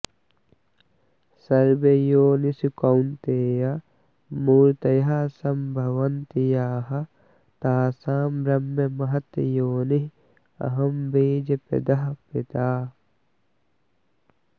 सर्वयोनिषु कौन्तेय मूर्तयः सम्भवन्ति याः तासां ब्रह्म महत् योनिः अहं बीजप्रदः पिता